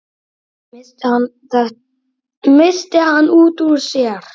missti hann út úr sér.